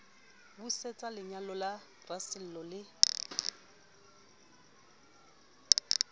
busetse lenyalo la rasello le